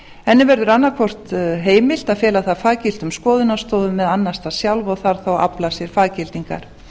henni verður annaðhvort heimilt að fela það faggiltum skoðunarstofum eða annast það sjálf og þarf þá að afla sér faggildingar